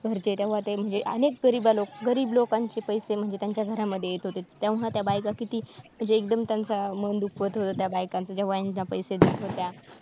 घरचे तेव्हा ते म्हणजे अनेक गरीब गरीब लोकांचे पैसे म्हणजे त्यांच्या घरामध्ये येत होते. तेव्हा त्या बायका किती म्हणजे एकदम त्यांचं मन दुखत होतं त्या बायकांच्या पैसे देत होत्या.